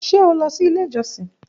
Ṣe o lọ si ile ijosin?